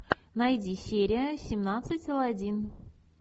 найди серия семнадцать алладин